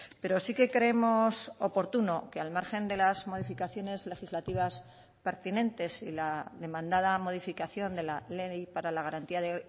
pero sí que creemos oportuno que al margen de las modificaciones legislativas pertinentes y la demandada modificación de la ley para la garantía de